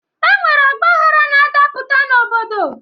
E nwere ọgbaghara na-adapụta n'obodo.